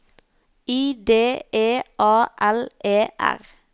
I D E A L E R